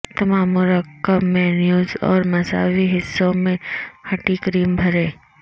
تمام مرکب میئونیز اور مساوی حصوں میں ھٹی کریم بھریں